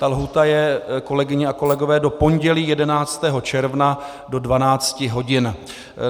Ta lhůta je, kolegyně a kolegové, do pondělí 11. června do 12 hodin.